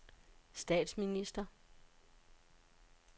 statsminister